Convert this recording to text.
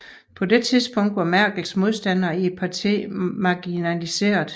På dette tidspunkt var Merkels modstandere i partiet marginaliseret